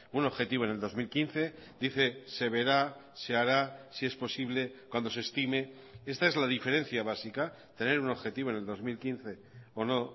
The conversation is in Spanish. un objetivo en el dos mil quince dice se verá se hará si es posible cuando se estime esta es la diferencia básica tener un objetivo en el dos mil quince o no